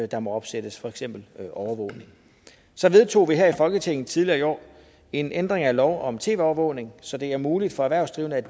der må opsættes for eksempel overvågning så vedtog vi her i folketinget tidligere i år en ændring af lov om tv overvågning så det er muligt for erhvervsdrivende